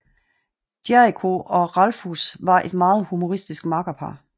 Jericho og Ralphus var et meget humoristisk makkerpar